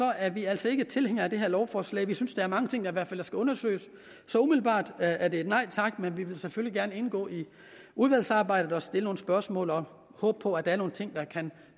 er vi altså ikke tilhænger af det her lovforslag vi synes der er mange ting der skal undersøges så umiddelbart er det et nej tak men vi vil selvfølgelig gerne indgå i udvalgsarbejdet og stille nogle spørgsmål vi håbe på at der er nogle ting der kan